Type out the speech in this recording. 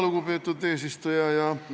Lugupeetud eesistuja!